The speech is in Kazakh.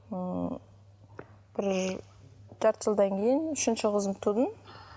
ыыы бір жарты жылдан кейін үшінші қызымды тудым